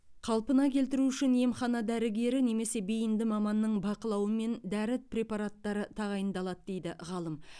қалпына келтіру үшін емхана дәрігері немесе бейінді маманның бақылауымен дәрі препараттары тағайындалады дейді ғалым